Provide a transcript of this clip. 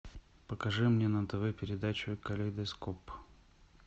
покажи мне на тв передачу калейдоскоп